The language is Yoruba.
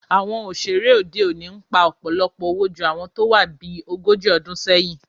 Àwọn òṣèré òde òní ń pa ọ̀pọ̀lọpọ̀ owó ju ti àwọn tó wá bí ogójì ọdún sẹ́yìn